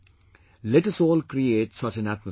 Let us all create such an atmosphere